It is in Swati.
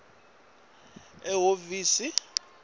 faka sicelo ehhovisi